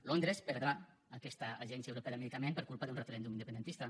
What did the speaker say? londres perdrà aquesta agència europea del medicament per culpa d’un referèndum independentista